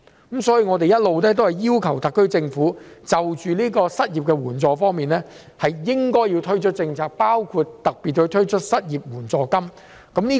因此，我們一直要求特區政府應就失業援助推出政策，包括特別推出失業援助金。